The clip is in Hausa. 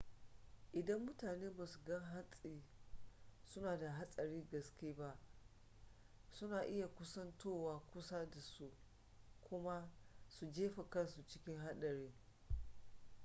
idan mutane basu ga hatsin suna da hatsarin gaske ba suna iya kusantowa kusa dasu kuma su jefa kansu cikin hadari